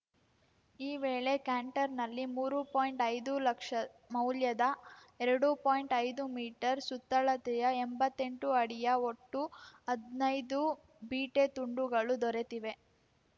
ಈ ವೇಳೆ ಕ್ಯಾಂಟರ್‌ನಲ್ಲಿ ಮೂರು ಪಾಯಿಂಟ್ಐದುಲಕ್ಷ ಮೌಲ್ಯದ ಎರಡು ಪಾಯಿಂಟ್ಐದು ಮೀಟರ್ಸುತ್ತಳತೆಯ ಎಂಬತ್ತೆಂಟು ಅಡಿಯ ಒಟ್ಟು ಹದ್ನೈದು ಬೀಟೆ ತುಂಡುಗಳು ದೊರೆತಿವೆ